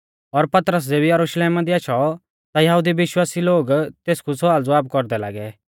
और पतरस ज़ेबी यरुशलेमा दी आशौ ता यहुदी विश्वासी लोग तेसकु सवालज़वाब कौरदै लागै